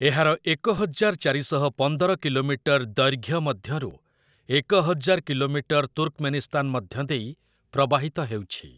ଏହାର ଏକ ହଜାର୍‌ ଚାରି ଶହ ପନ୍ଦର କିଲୋମିଟର ଦୈର୍ଘ୍ୟ ମଧ୍ୟରୁ ଏକ ହଜାର କିଲୋମିଟର ତୁର୍କମେନିସ୍ତାନ ମଧ୍ୟ ଦେଇ ପ୍ରବାହିତ ହେଉଛି ।